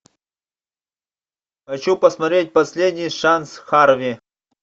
хочу посмотреть последний шанс харви